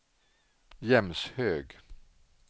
Jämshög